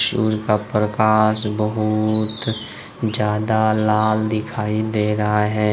सुर्य का प्रकाश बहुत ज्यादा लाल दिखाई दे रहा है।